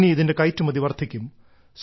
ഇനി ഇതിന്റെ കയറ്റുമതി വർദ്ധിക്കും